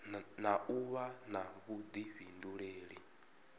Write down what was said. na u vha na vhuḓifhinduleli